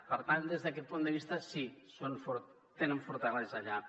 per tant des d’aquest punt de vista sí tenen fortalesa allà